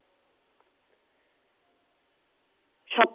সব